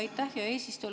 Aitäh, hea eesistuja!